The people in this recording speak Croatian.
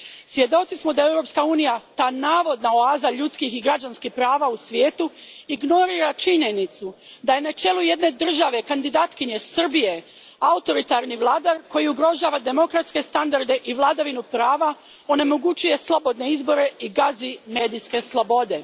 Svjedoci smo da Europska unija, ta navodna oaza ljudskih i građanskih prava u svijetu, ignorira činjenicu da je na čelu jedne države kandidatkinje Srbije, autoritarni vladar koji ugrožava demokratske standarde i vladavinu prava, onemogućuje slobodne izbore i gazi medijske slobode.